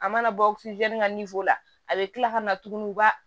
A mana bɔ ka la a bɛ kila ka na tuguni ba